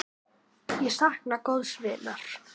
Ég sakna góðs vinar.